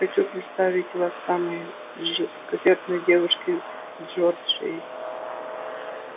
хочу представить вас самой жёсткосердной девушке в джорджии